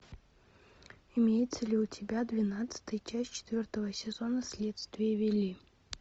имеется ли у тебя двенадцатая часть четвертого сезона следствие вели